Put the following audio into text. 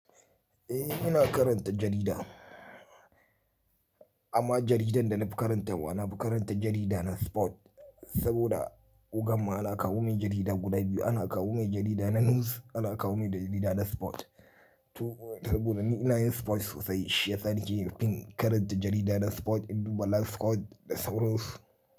Eh, ina karanta jarida amma jaridar da na fi karantawa na fi karanta jarida na sport saboda ogan ma ana kawo mai jarida guda biyu. Ana kawo mai jarida na news, ana kawo mai jarida na sport. To saboda ni ina yin sport sosai shiyasa nake fin karanta jarida na sport in duba live squad da sauransu.